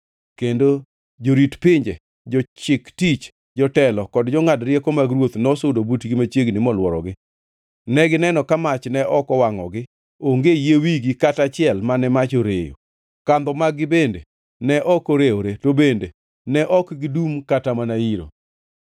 kendo jorit pinje, jochik tich, jotelo, kod jongʼad rieko mag ruoth nosudo butgi machiegni molworogi. Negineno ka mach ne ok owangʼogi, onge yie wigi kata achiel mane mach oreyo, kandho mag-gi bende ne ok orewore, to bende ne ok gidungʼ kata mana iro.